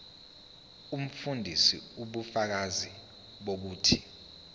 umfundisi ubufakazi bokuthi